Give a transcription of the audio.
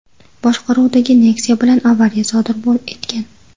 boshqaruvidagi Nexia bilan avariya sodir etgan.